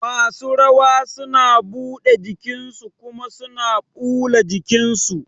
Masu rawa suna buɗe jikin su kuma suna ɓula jikin su